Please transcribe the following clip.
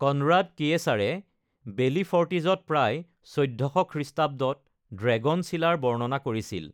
Conrad কিয়েচাৰে বেলিফৰ্টিছত প্ৰায় ১৪০০ খ্ৰীঃত ড্ৰেগন চিলাৰ বৰ্ণনা কৰিছিল।